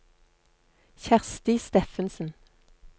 Kjersti Steffensen